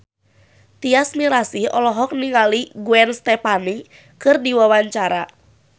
Tyas Mirasih olohok ningali Gwen Stefani keur diwawancara